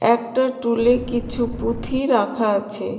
একটা টুলে কিছু পুথি রাখা আছে.